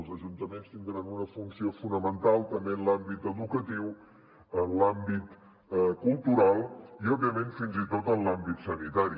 els ajuntaments tindran una funció fonamental també en l’àmbit educatiu en l’àmbit cultural i òbviament fins i tot en l’àmbit sanitari